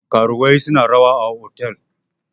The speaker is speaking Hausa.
karuwai suna rawa a otal